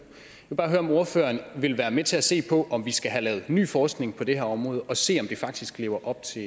vil bare høre om ordføreren vil være med til at se på om vi skal have lavet ny forskning på det her område og se om det faktisk lever op til